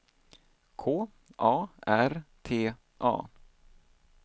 K A R T A